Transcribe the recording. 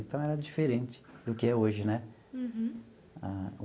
Então, era diferente do que é hoje, né? Uhum.